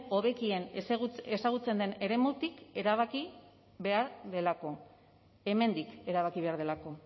hobekien ezagutzen den eremutik erabaki behar delako hemendik erabaki behar delako